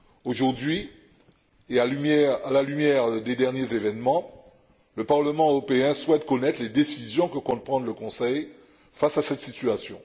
Aujourd'hui, et à la lumière des derniers événements, le Parlement européen souhaite connaître les décisions que compte prendre le Conseil face à cette situation.